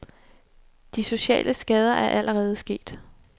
De sociale skader er allerede sket.